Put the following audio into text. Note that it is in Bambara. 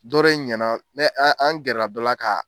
Dɔ de ɲɛna an an an gɛrɛra dɔ la ka